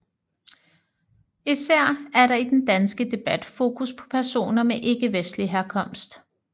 Især er der i den danske debat fokus på personer med ikkevestlig herkomst